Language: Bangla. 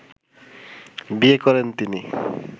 বিয়ে করেন তিনি